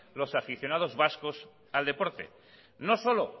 los aficionados vascos al deporte no solo